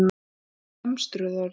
Bæði lemstruð orðin.